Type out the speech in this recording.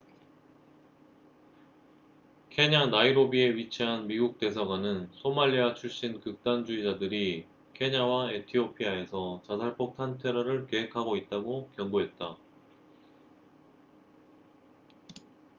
"케냐 나이로비에 위치한 미국 대사관은 "소말리아 출신 극단 주의자들""이 케냐와 에티오피아에서 자살폭탄 테러를 계획하고 있다고 경고했다.